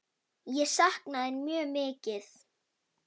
Ég sakna þín mjög mikið.